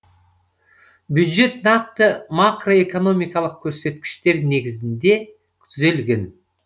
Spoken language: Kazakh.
бюджет нақты макроэкономикалық көрсеткіштер негізінде түзілген